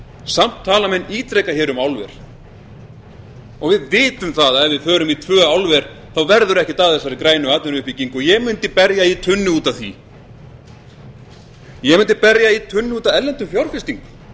samt tala menn ítrekað um álver við vitum að ef við förum í tvö álver verður ekkert af þessari grænu atvinnuuppbyggingu og ég mundi berja í tunnu út af því ég mundi berja í tunnu út af erlendum fjárfestingum